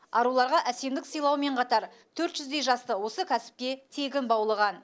аруларға әсемдік сыйлаумен қатар төрт жүздей жасты осы кәсіпке тегін баулыған